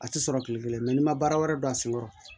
A tɛ sɔrɔ tile kelen n'i ma baara wɛrɛ don a senkɔrɔ